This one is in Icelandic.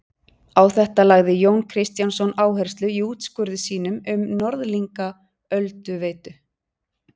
Á þetta lagði Jón Kristjánsson áherslu í úrskurði sínum um Norðlingaölduveitu.